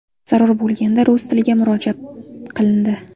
Zarur bo‘lganda, rus tiliga murojaat qilindi.